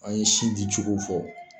A ye sin di cogo fɔ.